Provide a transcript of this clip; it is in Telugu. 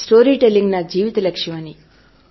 స్టోరీ టెల్లింగ్ నా జీవిత లక్ష్యం అని